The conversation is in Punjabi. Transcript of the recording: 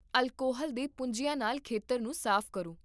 ਅਲਕੋਹਲ ਦੇ ਪੂੰਝਿਆਂ ਨਾਲ ਖੇਤਰ ਨੂੰ ਸਾਫ਼ ਕਰੋ